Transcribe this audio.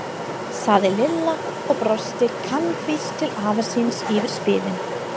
sagði Lilla og brosti kankvís til afa síns yfir spilin.